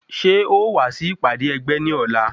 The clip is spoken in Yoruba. Ṣé ó wàá sí ìpàdé ẹgbẹ́ ní ọ̀la?